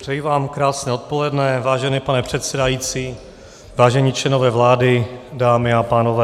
Přeji vám krásné odpoledne, vážený pane předsedající, vážení členové vlády, dámy a pánové.